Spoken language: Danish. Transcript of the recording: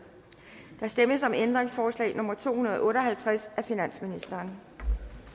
der stemmes om ændringsforslag nummer to hundrede og otte og halvtreds af finansministeren